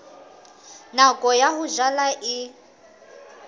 nako ya ho jala e